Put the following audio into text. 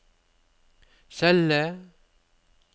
celle